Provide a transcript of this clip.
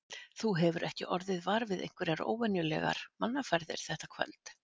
Þú hefur ekki orðið var við einhverjar óvenjulegar mannaferðir þetta kvöld?